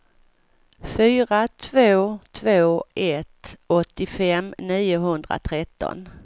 fyra två två ett åttiofem niohundratretton